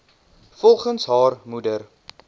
volgens haar moeder